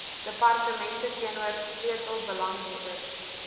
departemente teenoor sleutelbelanghebbers